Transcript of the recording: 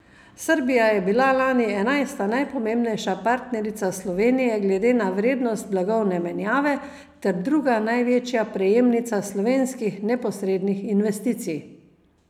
Srbija je bila lani enajsta najpomembnejša partnerica Slovenije glede na vrednost blagovne menjave ter druga največja prejemnica slovenskih neposrednih investicij.